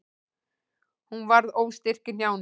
Hún varð óstyrk í hnjánum.